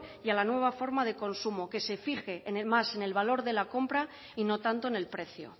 y a la nueva forma de consumo que se fije más en el valor de la compra y no tanto en el precio